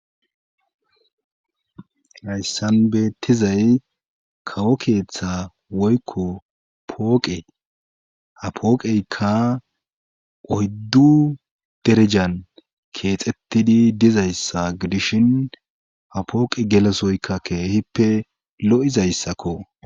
Hayssan beettizay kawo keeththa woykko pooqe ha pooqeykka oyddu derejan keexettidi dizayssaidishin ha pooqe gelesoyka keehippe lo'izayssakko.